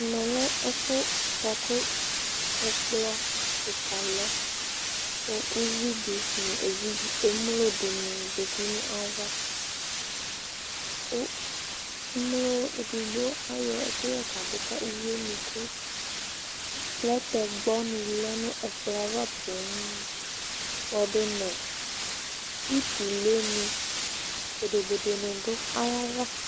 Mɛ lɛ ɛfu bua ku ɛkplɔ kika lɛɛ ku uvɩ di nu evidz emlo dini zeti nu ava, ku umlo edigbo ayɔ ɛkuyɛ kadu ka uvie nuku? lɛtɛkpɔ ni lɛ nu ɛkplɔava poo kpɔdu nu utule ni, bodobodo ni du aya va